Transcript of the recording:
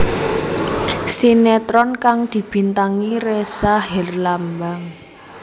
Sinetron kang dibintangi Ressa Herlambang